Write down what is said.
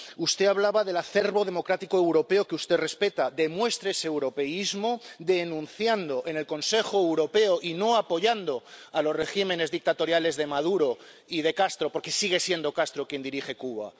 Usted hablaba del acervo democrático europeo que usted respeta demuestre ese europeísmo denunciando en el Consejo Europeo y no apoyando a los regímenes dictatoriales de Maduro y de Castro —porque sigue siendo Castro quien dirige Cuba—.